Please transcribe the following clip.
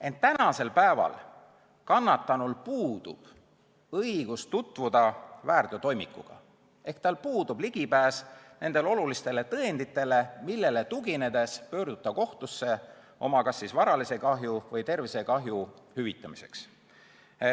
Ent praegu puudub kannatanul õigus tutvuda väärteotoimikuga ehk tal puudub ligipääs nendele olulistele tõenditele, millele tuginedes pöörduda kohtusse kas oma varalise kahju või tervisekahju hüvitamiseks.